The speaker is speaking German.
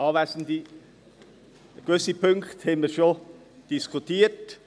Gewisse Punkte haben wir schon diskutiert.